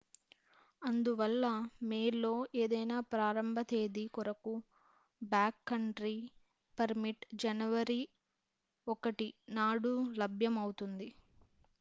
అందువల్ల మే లో ఏదైనా ప్రారంభ తేదీ కొరకు బ్యాక్ కంట్రీ పర్మిట్ జనవరి 1నాడు లభ్యం అవుతుంది